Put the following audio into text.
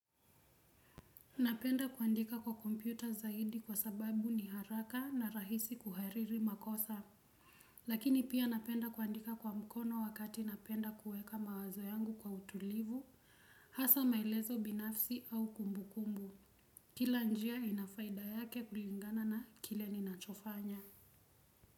Napenda kuandika kwa kompyuta zaidi kwa sababu ni haraka na rahisi kuhariri makosa. Lakini pia napenda kuandika kwa mkono wakati napenda kuweka mawazo yangu kwa utulivu hasa maelezo binafsi au kumbukumbu kila njia ina faida yake kulingana na kile ninachofanya.